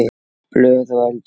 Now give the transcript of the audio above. Blöð og eldur.